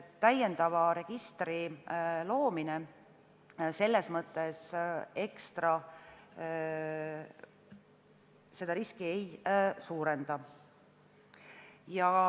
Täiendava registri loomine selles mõttes seda riski ekstra ei suurenda.